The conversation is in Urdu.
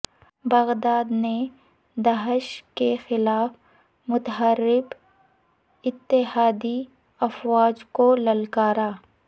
بغدادی نے داعش کے خلاف متحارب اتحادی افواج کو للکارا